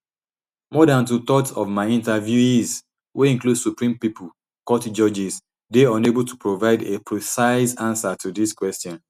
more dan twothirds of my interviewees wey include supreme people court judges dey unable to provide a precise ansa to dis question